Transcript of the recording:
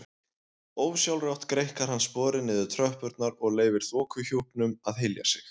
Ósjálfrátt greikkar hann sporið niður tröppurnar og leyfir þokuhjúpnum að hylja sig.